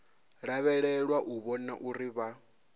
lavhelelwa u vhona uri vha